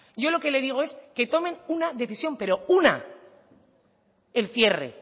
yo lo que le digo es que tomen una decisión pero una el cierre